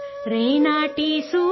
ریناڈو صوبہ کے سورج،